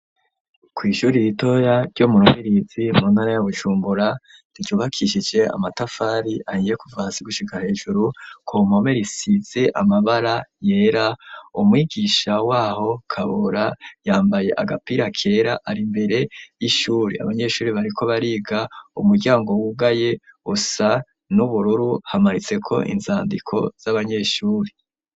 Kw'ishure ritoya ryo mu Rubirizi muntara ya bujumbura ryubakishije amatafari ahiye kuva hasi gushika hejuru. kumpome Risize amabara yera umwigisha w'aho kabora yambaye agapira kera ari imbere y'ishuri abanyeshuri bariko bariga umuryango wugaye usa n'ubururu hamanitse ko inzandiko z'abanyeshuri.